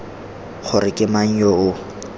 gore ke mang yo o